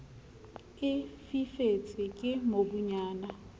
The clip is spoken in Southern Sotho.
e fifetse ke mobunyana le